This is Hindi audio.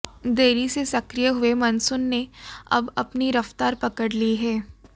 देरी से सक्रिय हुए मॉनसून ने अब अपनी रफ्तार पकड़ ली है